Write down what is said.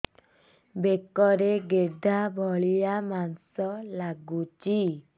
ବେକରେ ଗେଟା ଭଳିଆ ମାଂସ ଲାଗୁଚି